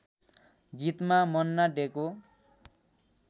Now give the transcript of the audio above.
गीतमा मन्ना डेको